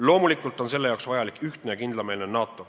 Loomulikult on selle jaoks vajalik ühtne ja kindlameelne NATO.